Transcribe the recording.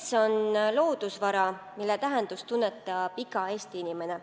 Mets on loodusvara, mille tähendust tunnetab iga Eesti inimene.